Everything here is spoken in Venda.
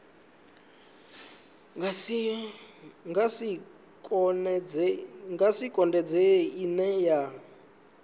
nga si konadzee ine ya